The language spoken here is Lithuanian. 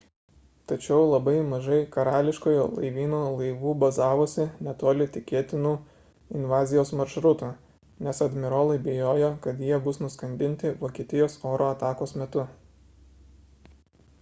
tačiau labai mažai karališkojo laivyno laivų bazavosi netoli tikėtinų invazijos maršrutų nes admirolai bijojo kad jie bus nuskandinti vokietijos oro atakos metu